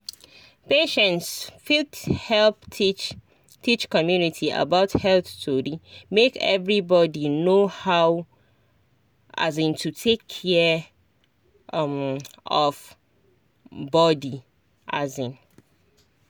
patients fit help teach teach community about health tori make everybody know how um to take care um of body. um